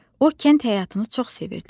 O kənd həyatını çox sevirdi.